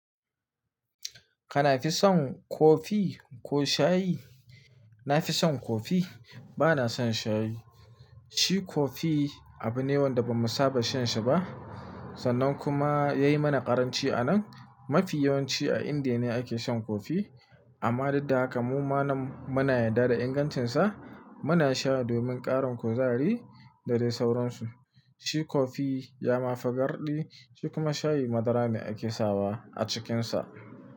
Kana fi son kofi ko shayi? Na fi son kofi, ba na son shayi. Shi kofi abu ne wanda ba mu saba shan shi ba sannan kuma ya yi mana ƙaranci a nan. Mafi yawanci a Indiya ne ake shan kofi amma dud daha ka mu ma muna yarda da ingantinsa. Muna sha domin ƙarin kuzari da dai sauransu. Shi kofi ya ma fagarɗi, shi kuma shayi madara ne ake sawa a cikinsa.